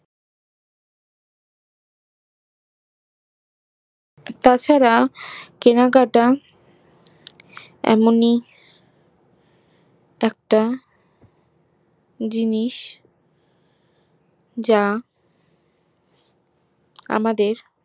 তাছাড়া কেনাকাটা এমনই একটা জিনিস যা আমাদের